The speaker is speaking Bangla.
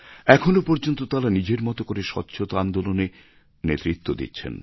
এখনও পর্যন্ত তাঁরা নিজের মত করে স্বচ্ছতা আন্দোলনে নেতৃত্ব দিচ্ছেন